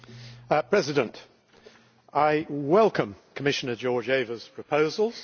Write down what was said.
Mr President, I welcome Commissioner Georgieva's proposals.